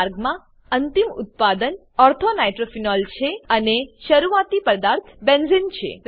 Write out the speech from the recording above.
આ માર્ગમાં અંતિમ ઉત્પાદન ortho નાઇટ્રોફિનોલ છે અને શરૂઆતી પદાર્થ બેન્ઝેને છે